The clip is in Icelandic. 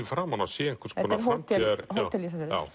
framan á sé einhvers konar þetta er